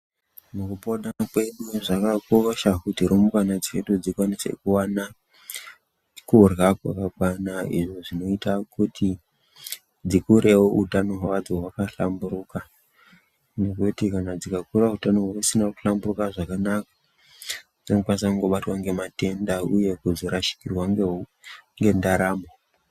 Mukupona kwedu Zvakakosha kuti rumbwana dzedu dzikwanise kuwana kurya Kwakakwana izvo zvinoita kuti dzikurewo utano hwadzo hwakahlamburuka nekuti kana dzIkakura utano husina kuhlamburika zvakanaka dzinokwanisa kungobatwa ngematenda uye kuzorashikirwa ngeu ngendaramo.